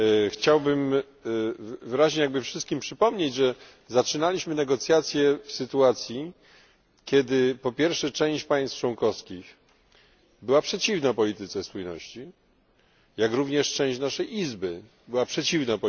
Chciałbym wyraźnie wszystkim przypomnieć, że zaczynaliśmy negocjacje w sytuacji, kiedy po pierwsze część państw członkowskich była przeciwna polityce spójności, jak również część naszej Izby była temu przeciwna.